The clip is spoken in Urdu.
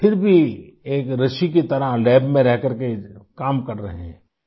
پھر بھی ایک رشی کی طرح لیب میں رہ کرکے کام کر رہے ہیں